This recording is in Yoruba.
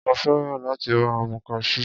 Mo fẹ́ràn láti máa mu Cashew.